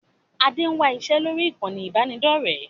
Adé ń wá iṣẹ́ lórí ìkànnì ibanidọ̀rẹ́